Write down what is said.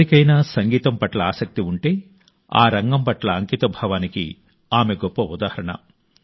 ఎవరికైనా సంగీతం పట్ల ఆసక్తి ఉంటే సంగీతం పట్ల అంకితభావానికి ఆమె గొప్ప ఉదాహరణ